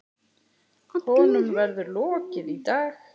Honum verður lokið í dag.